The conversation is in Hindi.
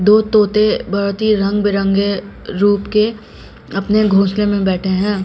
दो तोते बहुत ही रंग बिरंगे रूप के अपने घोसले में बैठे हैं।